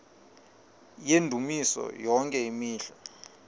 yendumiso yonke imihla